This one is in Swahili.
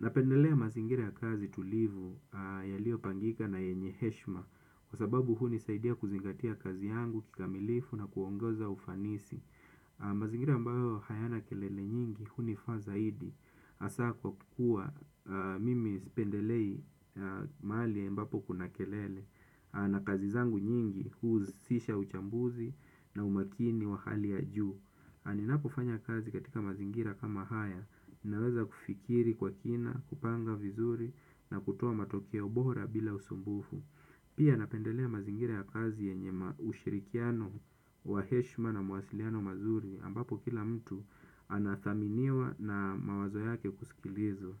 Napendelea mazingira ya kazi tulivu yalio pangika na yenye heshima kwa sababu huni saidia kuzingatia kazi yangu, kikamilifu na kuongoza ufanisi. Mazingira ambayo hayana kelele nyingi huni fa zaidi hasa kwa kuwa mimi sipendelei mahali ambapo kuna kelele na kazi zangu nyingi husisha uchambuzi na umakini wa hali ya juu. Naninapo fanya kazi katika mazingira kama haya, naweza kufikiri kwa kina, kupanga vizuri na kutoa matokeo bora bila usumbufu. Pia napendelea mazingira ya kazi yenye ushirikiano wa heshima na mawasiliano mazuri ambapo kila mtu anadhaminiwa na mawazo yake kusikilizwa.